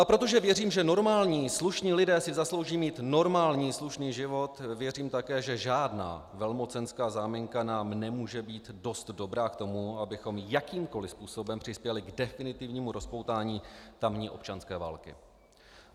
A protože věřím, že normální slušní lidé si zaslouží mít normální slušný život, věřím také, že žádná velmocenská záminka nám nemůže být dost dobrá k tomu, abychom jakýmkoliv způsobem přispěli k definitivnímu rozpoutání tamní občanské války.